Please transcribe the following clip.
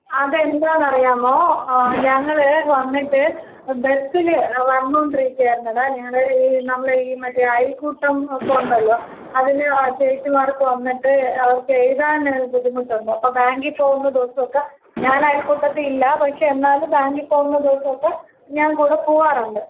അതെന്താന്ന് അറിയാമോ ഞങ്ങള് വന്നിട്ട് ബസ്സില് വന്നൊണ്ടിരിക്കായിരുന്നട ഞങ്ങടെ ഈ നമ്മളെ ഈ മറ്റേ അയൽക്കൂട്ടം ഒക്കെ ഉണ്ടല്ലോ? അതിന് ചേച്ചിമാരൊക്കെ വന്നിട്ട് അവർക്ക് എഴുതാന് ബുദ്ധിമുട്ടുണ്ട്. അപ്പോ ബാങ്കി പോകുന്ന ദിവസമൊക്കെ ഞാൻ അയൽക്കൂട്ടത്തിൽ ഇല്ല പക്ഷേ എന്നാലും ബാങ്കിൽ പോകുന്ന ദിവസമൊക്കെ ഞാൻ കൂടെ പോകാറുണ്ട്.